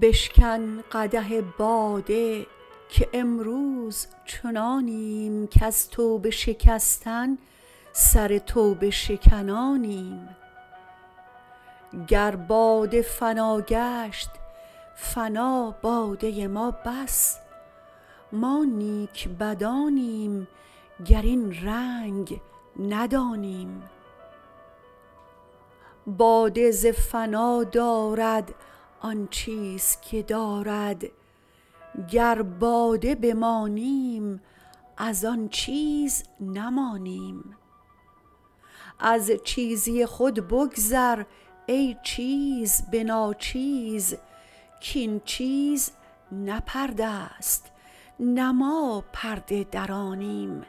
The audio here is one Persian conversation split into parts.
بشکن قدح باده که امروز چنانیم کز توبه شکستن سر توبه شکنانیم گر باده فنا گشت فنا باده ما بس ما نیک بدانیم گر این رنگ ندانیم باده ز فنا دارد آن چیز که دارد گر باده بمانیم از آن چیز نمانیم از چیزی خود بگذر ای چیز به ناچیز کاین چیز نه پرده ست نه ما پرده درانیم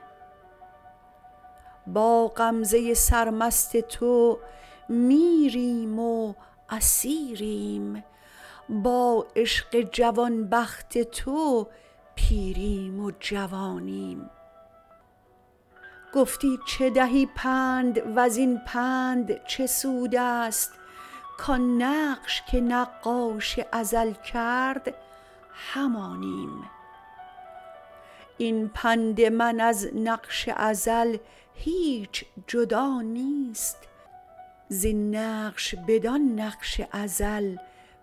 با غمزه سرمست تو میریم و اسیریم با عشق جوان بخت تو پیریم و جوانیم گفتی چه دهی پند و زین پند چه سود است کان نقش که نقاش ازل کرد همانیم این پند من از نقش ازل هیچ جدا نیست زین نقش بدان نقش ازل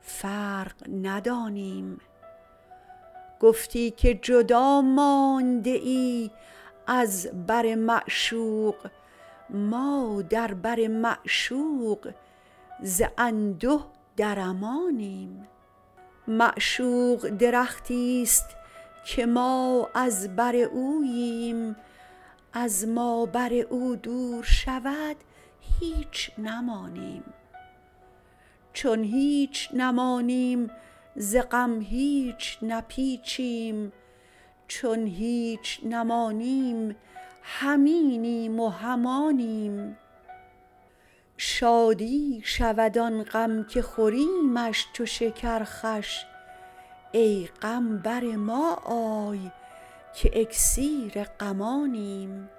فرق ندانیم گفتی که جدا مانده ای از بر معشوق ما در بر معشوق ز انده در امانیم معشوق درختی است که ما از بر اوییم از ما بر او دور شود هیچ نمانیم چون هیچ نمانیم ز غم هیچ نپیچیم چون هیچ نمانیم هم اینیم و هم آنیم شادی شود آن غم که خوریمش چو شکر خوش ای غم بر ما آی که اکسیر غمانیم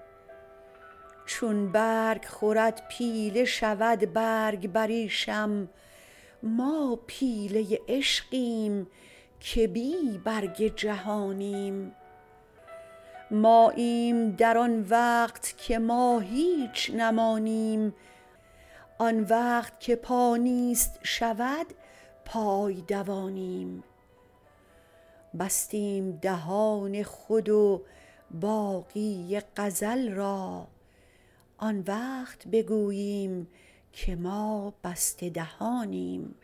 چون برگ خورد پیله شود برگ بریشم ما پیله عشقیم که بی برگ جهانیم ماییم در آن وقت که ما هیچ نمانیم آن وقت که پا نیست شود پای دوانیم بستیم دهان خود و باقی غزل را آن وقت بگوییم که ما بسته دهانیم